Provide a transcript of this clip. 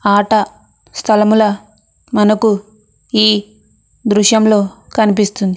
ఆట స్థలముల మనకు ఈ దృశ్యంలో కనిపిస్తుంది.